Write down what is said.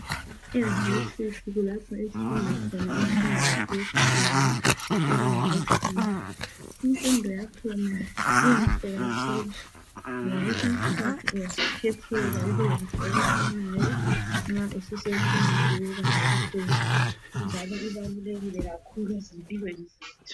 Eyunivesithi kulapho esifunda khona imfundo yethu yokugcina, ibanga lolugcina. Imfundo yakhona inhle kakhulu ngoba kwesinye iskhathi uyazikhethela ukwenza okufunayo nxa susemfundweni eyebanga eliphezulu, njalo ibalulekile kakhulu ezimpilweni zethu.